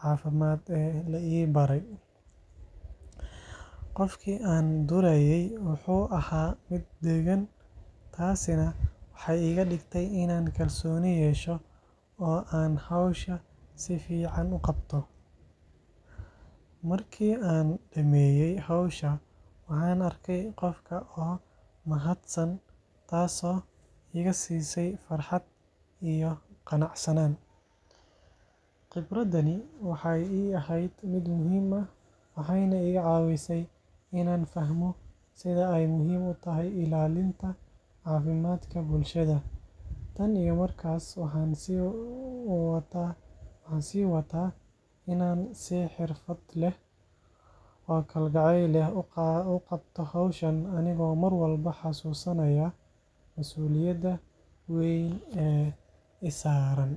caafimaad ee la ii baray. Qofkii aan durayay wuxuu ahaa mid deggan, taasina waxay iga dhigtay inaan kalsooni yeesho oo aan hawsha si fiican u qabto. Markii aan dhammeeyay hawsha, waxaan arkay qofka oo mahadsan, taasoo iga siisay farxad iyo qanacsanaan. Khibradani waxay ii ahayd mid muhiim ah, waxayna iga caawisay inaan fahmo sida ay muhiim u tahay ilaalinta caafimaadka bulshada. Tan iyo markaas, waxaan sii wataa inaan si xirfad leh oo kalgacal leh u qabto hawshan, anigoo mar walba xasuusanaya masuuliyadda weyn ee saaran.